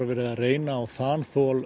verið að reyna á þol